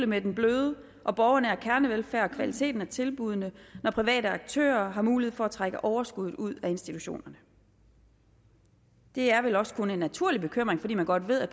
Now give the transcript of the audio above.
med den bløde og borgernære kernevelfærd og kvaliteten af tilbuddene når private aktører har mulighed for at trække overskuddet ud af institutionerne det er vel også kun en naturlig bekymring fordi man godt ved at